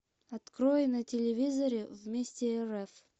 открой на телевизоре вместе рф